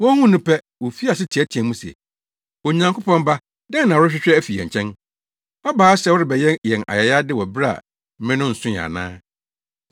Wohuu no pɛ, wofii ase teɛteɛɛ mu se, “Onyankopɔn Ba, dɛn na worehwehwɛ afi yɛn nkyɛn? Woaba ha sɛ worebɛyɛ yɛn ayayade wɔ bere a mmere no nsoe ana?”